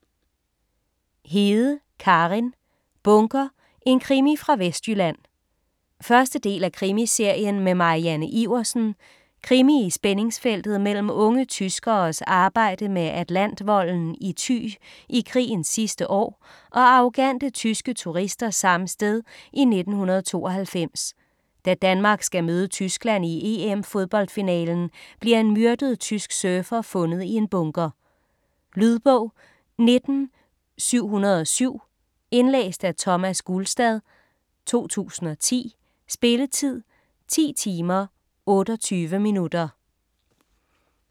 Hede, Karin: Bunker: en krimi fra Vestjylland 1. del af Krimiserien med Marianne Iversen. Krimi i spændingsfeltet mellem unge tyskeres arbejde med Atlantvolden i Thy i krigens sidste år, og arrogante tyske turister samme sted i 1992. Da Danmark skal møde Tyskland i EM-fodboldfinalen bliver en myrdet tysk surfer fundet i en bunker. Lydbog 19707 Indlæst af Thomas Gulstad, 2010. Spilletid: 11 timer, 28 minutter.